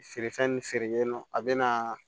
Feere fɛn feere yen nɔ a bɛ na